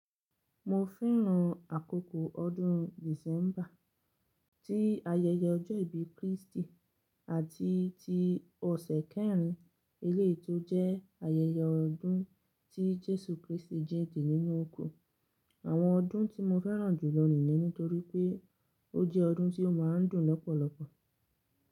Mo fẹ́ràn àkókò ọdún December tí ayẹyẹ ọjọ́ ìbí Kristi àti ti ọ̀sẹ̀ kẹrin eléyi to jẹ́ ayẹyẹ ọdún tí Jesu Kristi jínde nínú òkun. Àwọn ọdún tí mo fẹ́ràn jù ló nìyen nítorí pé ó jẹ́ ọdún tí ó ma ń dùn lọ́pọ̀lọpọ̀.